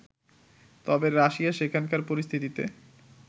তবে রাশিয়া সেখানকার পরিস্থিতিতে